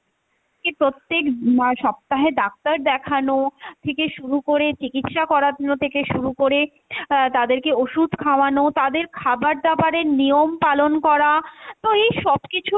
তাকে প্রত্যেক উম মানে সপ্তাহে ডাক্তার দেখানো থেকে শুরু করে চিকিৎসা করানো থেকে শুরু করে আহ তাদেরকে ওষুধ খাওয়ানো, তাদের খাবার দাবারের নিয়ম পালন করা তো এইসব কিছুর